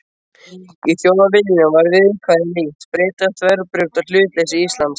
Í Þjóðviljanum var viðkvæðið líkt: Bretar þverbrjóta hlutleysi Íslands.